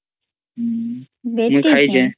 ଅମ୍